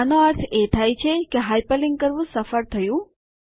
આનો અર્થ એ થાય છે કે હાઇપરલિન્ક કરવું સફળ થયું